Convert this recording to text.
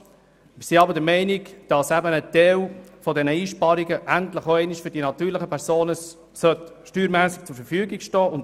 Wir sind nun der Meinung, dass ein Teil dieser Einsparungen endlich einmal für die natürlichen Personen zur Verfügung stehen soll.